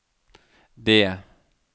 D